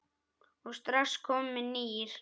og strax kominn nýr.